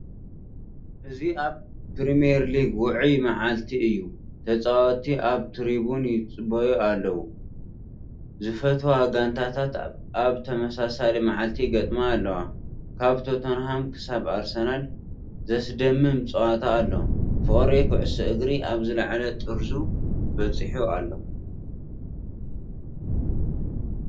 እዚ ኣብ ፕሪምየር ሊግ ውዑይ መዓልቲ እዩ፤ ተጻወትቲ ኣብ ትሪቡን ይጽበዩ ኣለዉ፡ ዝፈትዋ ጋንታታት ኣብ ተመሳሳሊ መዓልቲ ይገጥማ ኣለዋ። ካብ ቶተንሃም ክሳብ ኣርሰናል፡ ዘስደምም ጸወታ ኣሎ፤ ፍቕሪ ኩዕሶ እግሪ ኣብ ዝለዓለ ጥርዙ በጺሑ ኣሎ።